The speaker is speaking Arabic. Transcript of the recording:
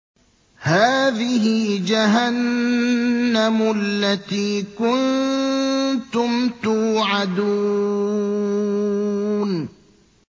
هَٰذِهِ جَهَنَّمُ الَّتِي كُنتُمْ تُوعَدُونَ